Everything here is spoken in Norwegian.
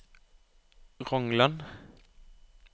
Ronglan